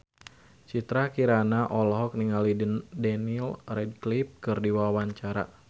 Citra Kirana olohok ningali Daniel Radcliffe keur diwawancara